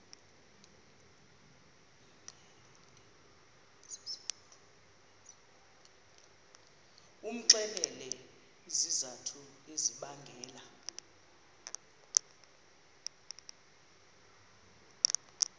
umxelele izizathu ezibangela